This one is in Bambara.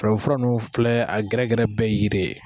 Farafin fura ninnu filɛ a gɛrɛgɛrɛ bɛɛ yiri ye